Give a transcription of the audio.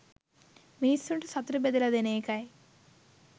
මිනිස්සුන්ට සතුට බෙදලා දෙන එකයි